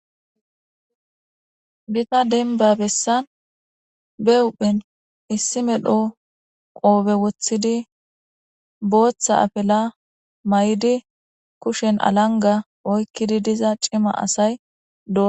Gita denba besan be huphen issi medho qobe wothidi botha afela may'idi kushen alanga oykkidi diza c'ima asay do.